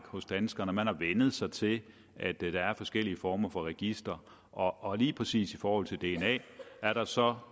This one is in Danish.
hos danskerne man har vænnet sig til at der er forskellige former for registre og og lige præcis i forhold til dna er der så